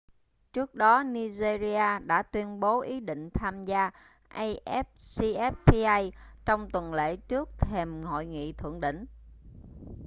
trước đó nigeria đã tuyên bố ý định tham gia afcfta trong tuần lễ trước thềm hội nghị thượng đỉnh